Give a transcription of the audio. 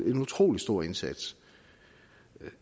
en utrolig stor indsats